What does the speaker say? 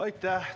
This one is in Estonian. Aitäh!